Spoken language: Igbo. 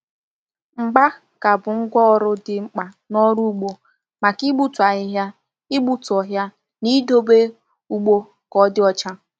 Mgba ka bụ ngwá ọrụ dị mkpa n’ọrụ ugbo, maka igbutu ahịhịa, igbutu ọhịa, na idobe ugbo ka ọ dị ọcha.